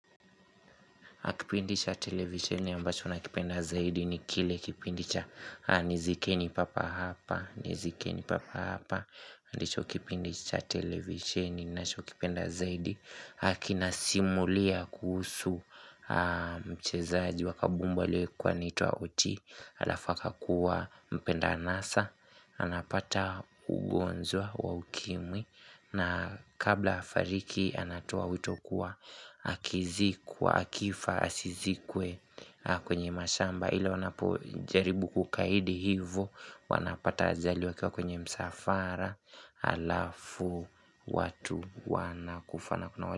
Kipindi sha televisheni ambacho nakipenda zaidi ni kile kipindisha nizikeni papa hapa, nizikeni papa hapa, ndisho kipindi sha televisheni ninachokipenda zaidi. Haki nasimulia kuhusu mchezaji wa kabumbu aliyekuwa aniitwa Oti Alafu akakuwa mpenda anasa anapata ugonjwa wa ukimwi na kabla afariki anatoa wito kuwa, akizikwa akifa asizikwe kwenye mashamba Ila wanapojaribu kukaidi hivo, wanapata ajali wakiwa kwenye msafara halafu watu wanakufa na.